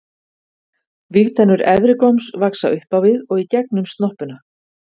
vígtennur efri góms vaxa upp á við og í gegnum snoppuna